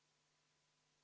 Lugupeetud istungi juhataja!